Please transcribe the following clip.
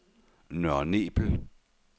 Nørre Nebel